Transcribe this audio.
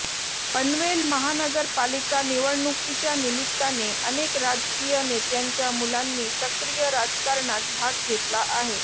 पनवेल महानगरपालिका निवडणुकीच्या निमित्ताने अनेक राजकीय नेत्यांच्या मुलांनी सक्रीय राजकारणात भाग घेतला आहे